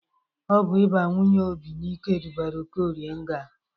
Ọ bụ ịba nwunye Obi n'ike dubara Okorie nga.